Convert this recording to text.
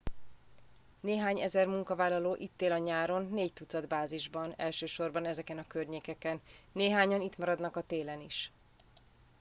néhány ezer munkavállaló itt él a nyáron négy tucat bázisban elsősorban ezeken a környékeken néhányan itt maradnak a télen is